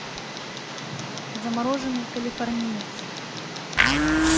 замороженный калифорниец